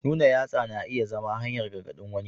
Nuna yatsa kuma na iya zama hanyar gargaɗin wani.